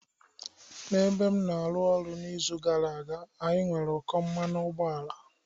N'ebe m na-arụ ọrụ n'izu gara aga, anyị nwere ụkọ mmanụ ụgbọala.